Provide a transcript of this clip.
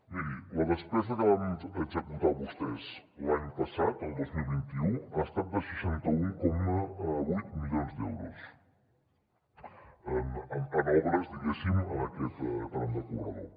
miri la despesa que van executar vostès l’any passat el dos mil vint u ha estat de seixanta un coma vuit milions d’euros en obres diguéssim en aquest tram de corredor